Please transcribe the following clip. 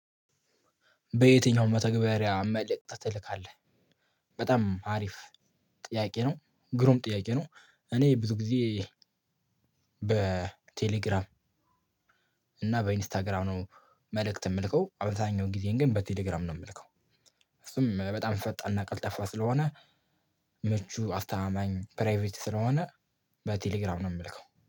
በየትኛው መተግበሪያ መልእክት ትልካለህ? በጣም አሪፍ ጥያቄ ነው ግሩም ጥያቄ ነው። እኔ ብዙ ጊዜ በቴሌግራም እና በኢንስታግራም መልእክት የምልከው አብዛኛውን ጊዜን ግን በቴሌግራም ነው የምልከው። እሱም በጣም ፈጣንና ቀልጠፋ ስለሆነ ምቹ አስተማማኝ ፕራይቬት ስለሆነ በቴሌግራም ነው የምልከው